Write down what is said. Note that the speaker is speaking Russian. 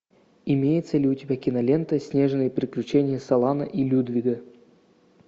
имеется ли у тебя кинолента снежные приключения солана и людвига